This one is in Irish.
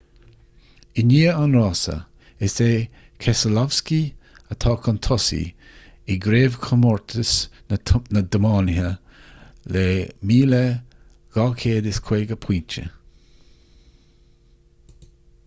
i ndiaidh an rása is é keselowski atá chun tosaigh i gcraobhchomórtas na dtiománaithe le 2,250 pointe